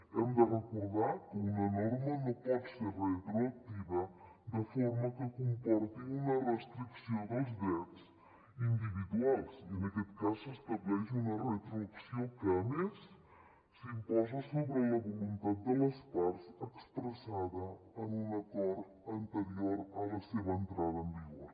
hem de recordar que una norma no pot ser retroactiva de forma que comporti una restricció dels drets individuals i en aquest cas s’estableix una retroacció que a més s’imposa sobre la voluntat de les parts expressada en un acord anterior a la seva entrada en vigor